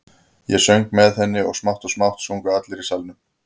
Ég söng með henni og smátt og smátt sungu allir í salnum.